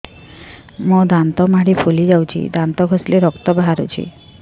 ମୋ ଦାନ୍ତ ମାଢି ଫୁଲି ଯାଉଛି ଦାନ୍ତ ଘଷିଲେ ରକ୍ତ ବାହାରୁଛି